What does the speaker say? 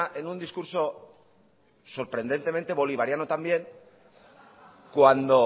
en un discurso sorprendentemente bolivariano también cuando